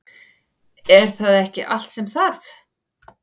Er það ekki allt sem þarf?